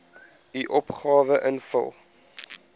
u opgawe invul